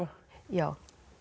já